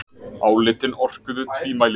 Álitin orkuðu tvímælis